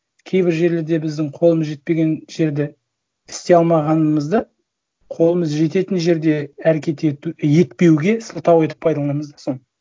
кейбір жерлерде біздің қолымыз жетпеген жерде істей алмағанымызды қолымыз жететін жерде әрекет етпеуге сылтау етіп пайдаланамыз да соны